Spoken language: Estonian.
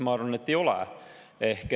Ma arvan, et ta ei ole.